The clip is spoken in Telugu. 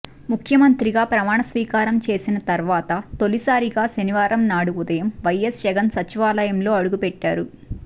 ముఖ్యమంత్రిగా ప్రమాణస్వీకారం చేసిన తర్వాత తొలిసారిగా శనివారం నాడు ఉదయం వైఎస్ జగన్ సచివాలయంలో అడుగుపెట్టారు